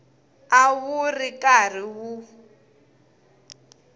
a wu ri karhi wu